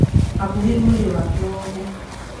Hakuhi mwiri wake wothe